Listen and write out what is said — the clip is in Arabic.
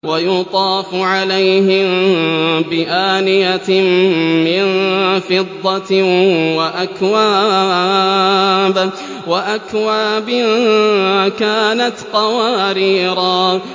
وَيُطَافُ عَلَيْهِم بِآنِيَةٍ مِّن فِضَّةٍ وَأَكْوَابٍ كَانَتْ قَوَارِيرَا